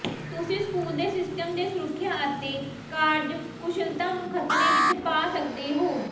ਤੁਸੀਂ ਸਕੂਲ ਦੇ ਸਿਸਟਮ ਦੀ ਸੁਰੱਖਿਆ ਅਤੇ ਕਾਰਜਕੁਸ਼ਲਤਾ ਨੂੰ ਖਤਰੇ ਵਿੱਚ ਪਾ ਸਕਦੇ ਹੋ